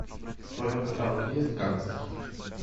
в твоем каталоге есть гангстер